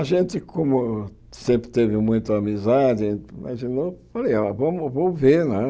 A gente, como sempre teve muita amizade, imaginou, falei ah, vamos vamos ver, né?